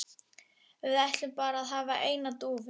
Við ætlum bara að hafa eina dúfu